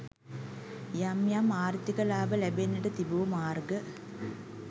යම් යම් ආර්ථික ලාභ ලැබෙන්නට තිබූ මාර්ග